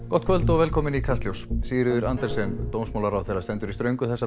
gott kvöld og velkomin í Kastljós Sigríður Andersen dómsmálaráðherra stendur í ströngu þessa